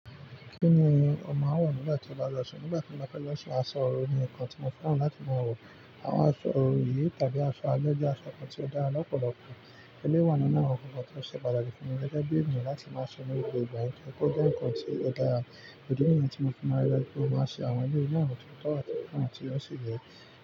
Kí ni ó máa ń wà nígbà tí ó bá jọ́sìn? Nígbà tí mo bá fẹ́ jọ́sìn, aṣọ orò ni nǹkan tí mo fẹ́ràn láti máa wọ̀. Àwọn aṣọ orò yìí tàbí aṣọ ayẹyẹ aṣọ kan tí ó dára lọ́pọ̀lọpọ̀. Ẹléwà nínú àwọn ọ̀kọ̀ọ̀kan tí ó ṣe pàtàkì fún mi lẹ́gbẹ́ bí ènìyàn láti máa ṣọnu ìgbà yẹn kí ó dá nǹkan tí ó dára. Èdi niyi tí mo fẹ́ máa rẹ́ kọ máa ṣe àwọn yíyà àwọn ìtọ́tọ́ àti ìkànnì tí ó ṣe yẹ.